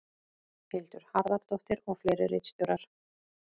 Hildur Harðardóttir og fleiri ritstjórar.